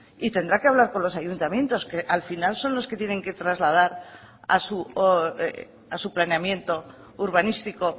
y tendrá que hablar con los ayuntamientos que al final son los que tienen que trasladar a su planeamiento urbanístico